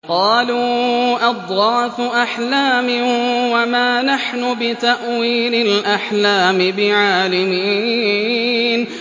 قَالُوا أَضْغَاثُ أَحْلَامٍ ۖ وَمَا نَحْنُ بِتَأْوِيلِ الْأَحْلَامِ بِعَالِمِينَ